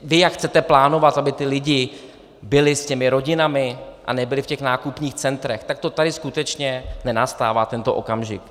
Vy jak chcete plánovat, aby ti lidé byli s těmi rodinami a nebyli v těch nákupních centrech, tak to tady skutečně nenastává, tento okamžik.